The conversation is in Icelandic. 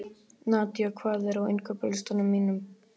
Nadia, hvað er á innkaupalistanum mínum?